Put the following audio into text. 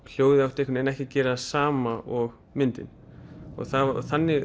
hljóðið átti ekki að gera það sama og myndin þannig